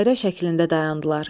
Dairə şəklində dayandılar.